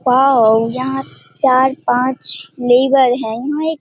wow यहां चार-पाँच labour है यहाँ एक --